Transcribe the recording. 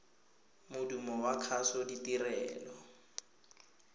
modumo wa kgaso ditirelo